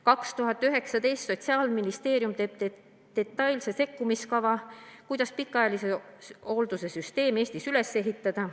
2019 – Sotsiaalministeerium teeb detailse sekkumiskava, kuidas pikaajalise hoolduse süsteem Eestis üles ehitada.